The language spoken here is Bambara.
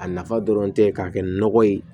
A nafa dɔrɔn tɛ ka kɛ nɔgɔ ye